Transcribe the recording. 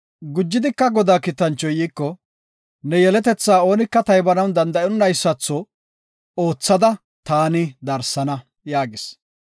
Gujidika Godaa kiitanchoy iiko, “Ne yeletetha oonika taybanaw danda7onnaada oothada darsana” yaagis.